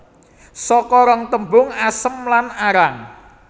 Saka rong tembung asem lan arang